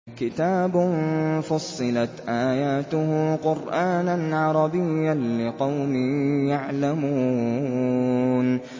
كِتَابٌ فُصِّلَتْ آيَاتُهُ قُرْآنًا عَرَبِيًّا لِّقَوْمٍ يَعْلَمُونَ